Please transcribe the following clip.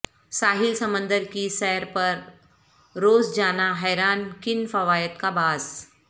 ساحل سمندر کی سیر پر روزجانا حیران کن فوائد کا باعث